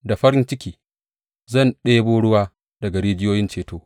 Da farin ciki zan ɗebo ruwa daga rijiyoyin ceto.